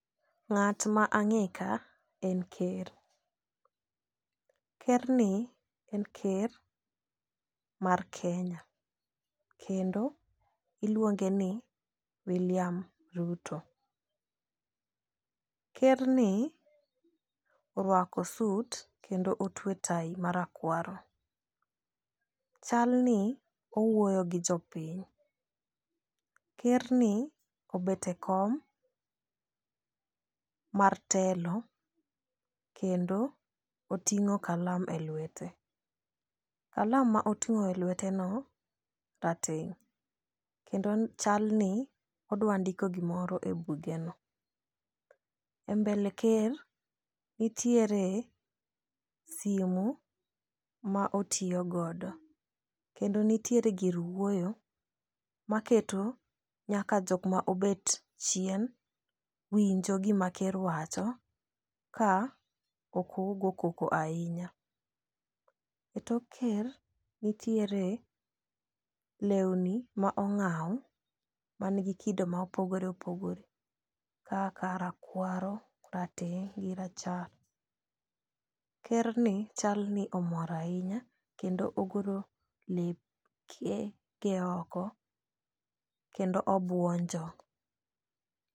Ng'at ma ang'e ka en ker. Ker ni en ker mar Kenya kendo iluonge ni wiliam Ruto. Ker ni orwako sut kendo otwe tai marakwaro. Chal ni owuoyo gi jopiny. Ker ni obet e kom mar telo kendo oting'o kalam e lwete. Kalam ma oting'o e lwete no rateng' kendo chal ni odwa ndiko gimoro e buge no. E mbele ker nitiere simu ma otiyo godo kendo nitiere gir wuoyo ma keto nyaka jok ma obet chien winjo gima ker wacho ka ok ogo koko ahinya. E tok ker nitiere lewni ma ong'aw man gi kido ma opogore opogore kaka rakwaro , rateng' gi rachar. Ker ni chal ni omor ahinya kendo ogolo leke ge oko kendo obuonjo.